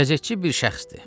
Qəzetçi bir şəxsdir.